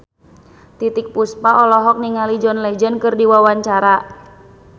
Titiek Puspa olohok ningali John Legend keur diwawancara